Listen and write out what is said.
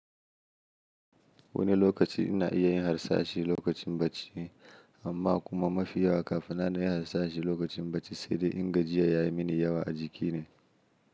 Wani lokaci ina iya yin harsashi lokacin bacci, amma kuma mafi yawa kafin na iya harsashi lokacin bacci, sai dai in gajiya ya yi mini yawa a jiki ne.